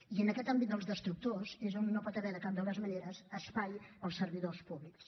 i en aquest àmbit dels destructors és on no hi pot haver de cap de les maneres espai per als servidors públics